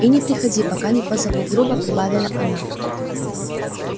и не приходи пока не позову грубо прибавила она